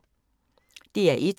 DR1